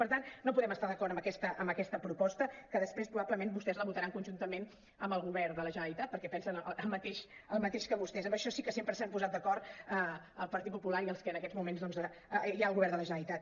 per tant no podem estar d’acord amb aquesta proposta que després probable·ment vostès la votaran conjuntament amb el govern de la generalitat perquè pen·sen el mateix que vostès en això sí que sempre s’han posat d’acord el partit popular i els que en aquests moments doncs hi ha al govern de la generalitat